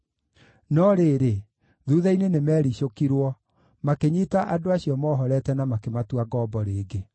No rĩrĩ, thuutha-inĩ nĩmericũkirwo, makĩnyiita andũ acio mohorete na makĩmatua ngombo rĩngĩ.